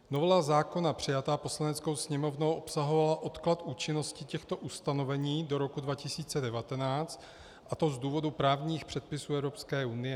Novela zákona přijatá Poslaneckou sněmovnou obsahovala odklad účinnosti těchto ustanovení do roku 2019, a to z důvodu právních předpisů Evropské unie.